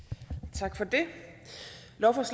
tak for det